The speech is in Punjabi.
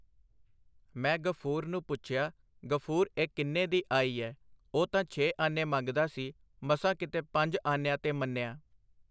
ਮੈਂ ਗ਼ਫੂਰ ਨੂੰ ਪੁੱਛਿਆ, ਗ਼ਫੂਰ, ਇਹ ਕਿੰਨੇ ਦੀ ਆਈ ਐ? ਉਹ ਤਾਂ ਛੇ ਆਨੇ ਮੰਗਦਾ ਸੀ ਮਸਾਂ ਕਿਤੇ ਪੰਜ ਆਨਿਆਂ ਤੇ ਮੰਨਿਆ.